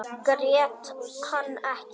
Grét hann ekki.